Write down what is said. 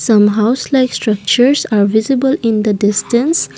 some house like structure are visible in the distance.